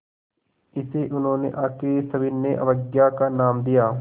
इसे उन्होंने आख़िरी सविनय अवज्ञा का नाम दिया